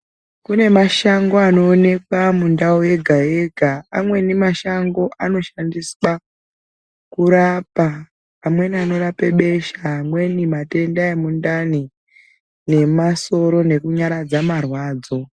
Kune mashango anoonekwa mundau yega yega amweni mashango anoshandiswa kurapa amweni anorape besha amweni matenda emundani emasoro nekunyaradza marwadzo.